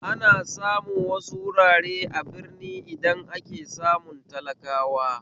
Ana samu wasu wurare a birni idan ake samun talakawa